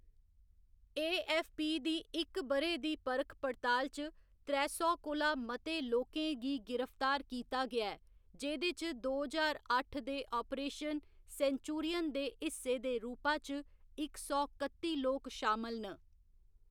AFP. दी इक ब'रे दी परख पड़ताल च त्रै सौ कोला मते लोकें गी गिरफ्तार कीता गेआ ऐ, जेह्‌‌‌दे च दो ज्हार अट्ठ दे आपरेशन सेंचुरियन दे हिस्से दे रूपा च इक सौ कत्ती लोक शामल न।